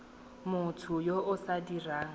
motho yo o sa dirang